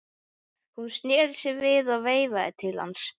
Hún sneri sér við og veifaði til hans.